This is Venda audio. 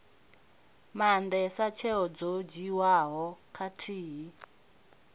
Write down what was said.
maandesa tsheo dzo dzhiiwaho khathihi